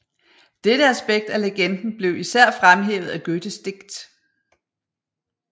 Dette aspekt af legenden blev især fremhævet af Goethes digt